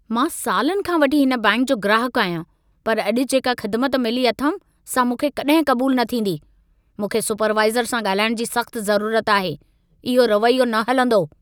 मां सालनि खां वठी हिन बैंकि जो ग्राहकु आहियां, पर अॼु जेका ख़िदमत मिली अथमि सां मूंखे कॾहिं क़बूल न थींदी। मूंखे सुपरवाइज़र सां ॻाल्हाइण जी सख़्त ज़रूरत आहे। इहो रवैयो न हलंदो।